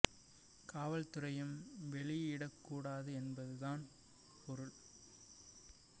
காவல் துறையும் வெளியிடக் கூடாது என்பது தான் இதன் பொருள்